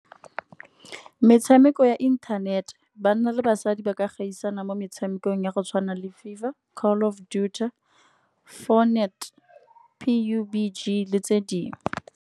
Metshameko ya internet, banna le basadi ba ka gaisana mo metshamekong ya go tshwana le fever, Call of Duty, Fortnite, P_U_B_G le tse dingwe.